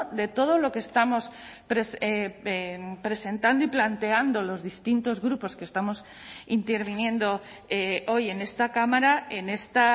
de todo lo que estamos presentando y planteando los distintos grupos que estamos interviniendo hoy en esta cámara en esta